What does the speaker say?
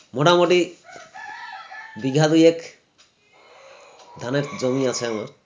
মোটামুটি বিঘা দুয়েক ধানের জমি আছে আমার